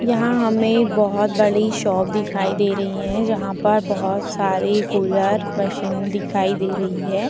यहाँ हमें बहोत बड़ी शॉप दिखाई दे रही है जहां पर बहोत सारी कूलर मशीन दिखाई दे रही है।